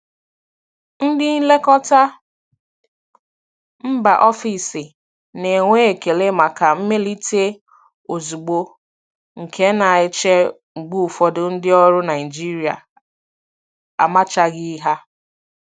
Ndị nlekọta mba ofesi na-enwe ekele maka mmelite ozugbo, nke na-eche mgbe ụfọdụ ndị ọrụ Naijiria amachaghị ha.